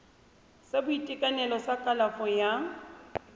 sa boitekanelo sa kalafo ya